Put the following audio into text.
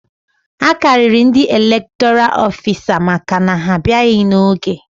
A karịrị ndị elektoral ofisa maka na ha abịaghị n'oge